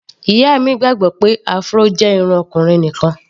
Ìyá mi gbàgbọ́ pé Afro jẹ́ irun ọkùnrin nìkan.